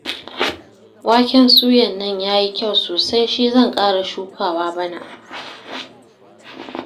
Waken suyan nan ya yi kyau sosai shi zan ƙara shukawa bana